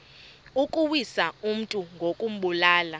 ukuwisa umntu ngokumbulala